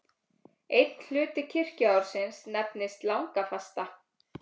Einn hluti kirkjuársins nefnist langafasta.